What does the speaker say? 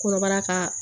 Kɔnɔbara kaa